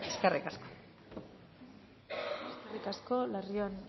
eskerrik asko eskerrik asko larrion